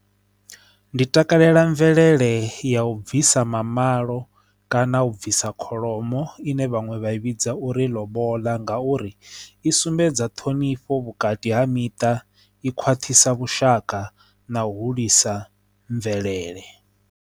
Ndi takalela mvelele ya u bvisa mamalo kana u bvisa kholomo ine vhaṅwe vha i vhidza uri lobola ngauri i sumbedza ṱhonifho vhukati ha miṱa i khwaṱhisa vhushaka na hulisa mvelele.